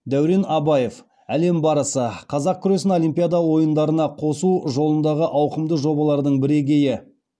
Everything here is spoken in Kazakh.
дәурен абаев әлем барысы қазақ күресін олимпиада ойындарына қосу жолындағы ауқымды жобалардың бірегейі